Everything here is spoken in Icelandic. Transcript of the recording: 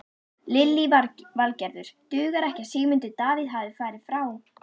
Lillý Valgerður: Dugar ekki að Sigmundur Davíð hafi farið frá?